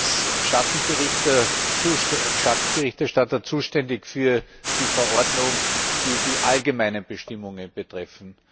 Ich war als Schattenberichterstatter zuständig für die Verordnung, die die allgemeinen Bestimmungen betrifft.